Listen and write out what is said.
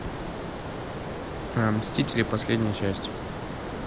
мстители последняя часть